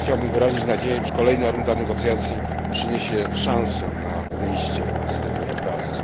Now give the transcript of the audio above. Chciałbym wyrazić nadzieję, iż kolejna runda negocjacji przyniesie szansę na wyjście z tego impasu.